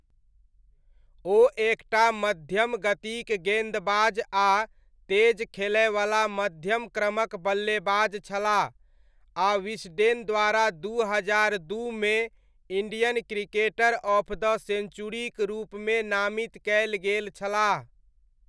ओ एक टा मध्यम गतिक गेन्दबाज आ तेज खेलयवला मध्यमक्रमक बल्लेबाज छलाह आ विस्डेन द्वारा दू हजार दूमे, इण्डियन क्रिकेटर ऑफ द सेञ्चुरीक रूपमे नामित कयल गेल छलाह।